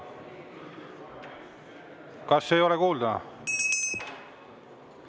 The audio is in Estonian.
Kas ei ole kuulda?